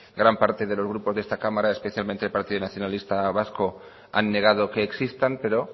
gran parte de los grupos de esta cámara especialmente el partido nacionalista vasco han negado que existan pero